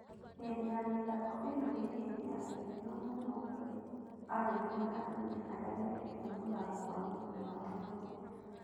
Hĩndĩ ya mĩthako ĩno nĩ hĩndĩ ya gĩkeno muno kurĩ arũme na atumia arĩa mendete mũthako wa mũbira wa magũrũ.